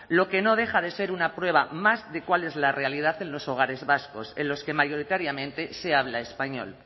lo que no deja de ser una prueba más de cuál es la realidad en los hogares vascos en los que mayoritariamente se habla español